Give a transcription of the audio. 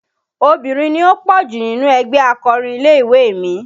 Obìnrin ni ó pọ̀ jù nínú ẹgbẹ́ akọrin ilé-ìwé mi